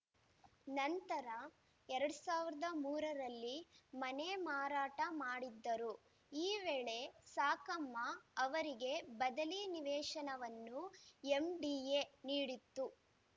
ನಂತರ ಎರಡ್ ಸಾವಿರದ ಮೂರ ರಲ್ಲಿ ಮನೆ ಮಾರಾಟ ಮಾಡಿದ್ದರು ಈ ವೇಳೆ ಸಾಕಮ್ಮ ಅವರಿಗೆ ಬದಲಿ ನಿವೇಶನವನ್ನು ಎಂಡಿಎ ನೀಡಿತ್ತು